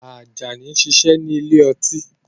Ajani ń ṣiṣẹ́ ní ile-ọtí